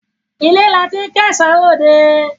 Ilé ni a ti ń kẹ́ṣọ̀ọ́ ròde.